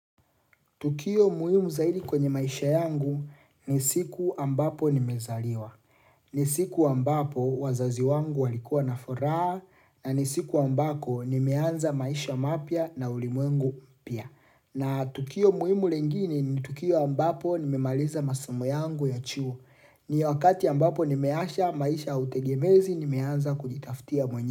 Tukio muHimu zaidi kwenye maisha yangu ni siku ambapo nimezaliwa. Ni siku ambapo wazazi wangu walikua nafuraa na ni siku ambako nimeanza maisha mapia na ulimuwengu mpia. Na tukio muhimu lingine ni tukio ambapo nimemaliza masomo yangu ya chuo. Ni wakati ambapo nimeasha maisha utegemezi nimeanza kujitaftia mwenye.